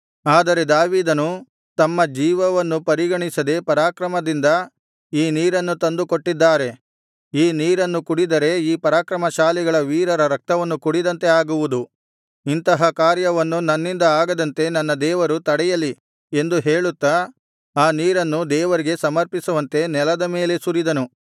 ಆದರೆ ದಾವೀದನು ತಮ್ಮ ಜೀವವನ್ನು ಪರಿಗಣಿಸದೆ ಪರಾಕ್ರಮದಿಂದ ಈ ನೀರನ್ನು ತಂದು ಕೊಟ್ಟಿದ್ದಾರೆ ಈ ನೀರನ್ನು ಕುಡಿದರೆ ಈ ಪರಾಕ್ರಮಶಾಲಿ ವೀರರ ರಕ್ತವನ್ನು ಕುಡಿದಂತೆ ಆಗುವುದು ಇಂತಹ ಕಾರ್ಯವನ್ನು ನನ್ನಿಂದ ಆಗದಂತೆ ನನ್ನ ದೇವರು ತಡೆಯಲಿ ಎಂದು ಹೇಳುತ್ತಾ ಆ ನೀರನ್ನು ದೇವರಿಗೆ ಸಮರ್ಪಿಸುವಂತೆ ನೆಲದ ಮೇಲೆ ಸುರಿದನು